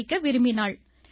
படிக்க விரும்பினாள்